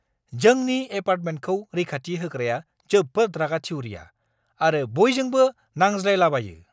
जोंनि एपार्टमेन्टखौ रैखाथि होग्राया जोबोद रागा-थिउरिया आरो बयजोंबो नांज्लायलाबायो!